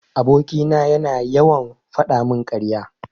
Aboki na yana yawan fadamin karya.